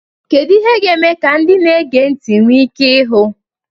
Kedu ihe ga-eme ka ndị na-ege ntị nwee ike ịhụ?